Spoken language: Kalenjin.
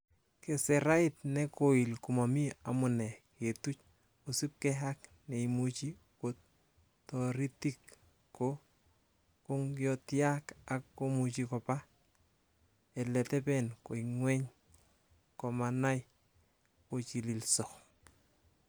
Keserait ne koil komomi amune ketuch, kosiibge ak neimuche ko toritik ko kongyotiak ak komuche koba ele teben koingeny komanai kochililso.